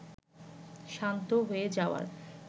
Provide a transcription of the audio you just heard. শান্ত হয়ে যাওয়ার